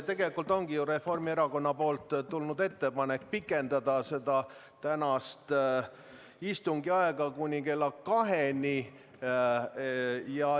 Tegelikult ongi Reformierakonnalt tulnud ettepanek pikendada tänast istungit kuni kella kaheni.